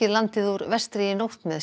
landið úr vestri í nótt með